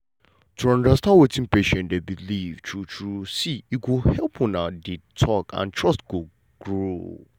to understand wetin patient dey believe true true see e go help how una dey talk and trust go grow.